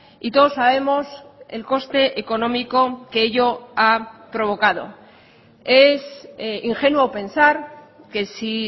y todos sabemos el coste económico que ello ha provocado es ingenuo pensar que si